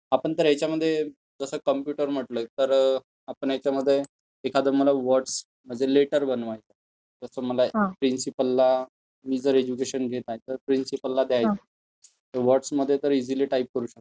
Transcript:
आपण तर ह्यांच्यामध्ये जसं कॉम्प्युटर म्हटलं तर आपण ह्यांच्यामध्ये एखादं मला वर्ड्स मध्ये एक लेटर बनवायचं आहे त्याच मला प्रिन्सिपलला, मी जर एज्युकेशन घेत आहे तर मला प्रिन्सिपलला द्यायचं आहे तर वर्ड्समध्ये तर ईज़ीली टाईप करू शकतो.